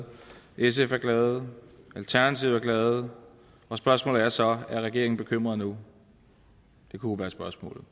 sf er glade at alternativet er glade og spørgsmålet er så er regeringen bekymret nu det kunne være spørgsmålet